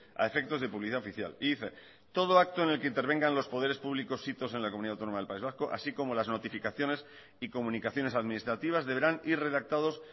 a efectos de publicidad oficial y dice todo acto en lo que intervengan los poderes públicos sitos en la comunidad autónoma del país vasco así como las notificaciones y comunicaciones administrativas deberán ir redactados